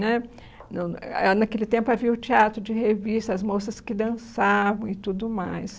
Né não, a Naquele tempo havia o teatro de revista, as moças que dançavam e tudo mais.